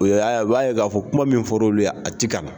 O ya ye u b'a ye k'a fɔ kuma min fɔra olu ye , a ti ka na.